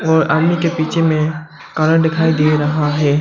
और आदमी के पीछे में काला दिखाई दे रहा है।